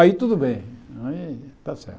Aí tudo bem, né está certo.